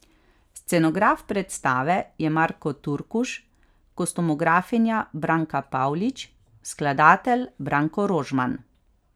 Scenograf predstave je Marko Turkuš, kostumografinja Branka Pavlič, skladatelj Branko Rožman.